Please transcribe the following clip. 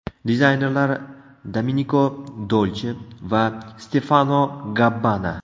Dizaynerlar Domeniko Dolche va Stefano Gabbana.